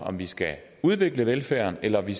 om vi skal udvikle velfærden eller om vi